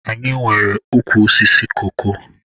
Anyị nwere ukwu osisi koko.